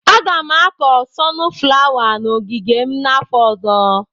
Aga m akọ sọnụ flawa n'ogige m afọ ọzọ.